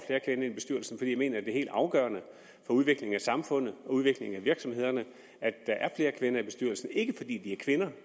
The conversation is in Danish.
jeg mener at det er helt afgørende for udviklingen af samfundet og udviklingen af virksomhederne at der er flere kvinder i bestyrelserne ikke fordi de er kvinder